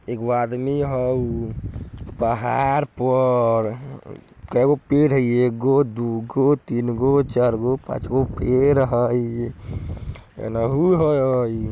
एगो आदमी होऊ पहाड़ पर काय गो पेड़ है ये एक गो दू गो तीन गो चार गो पांच गो पेड़ हेय एनहु हेय।